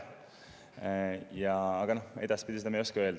Aga seda, kas edaspidi, ma ei oska öelda.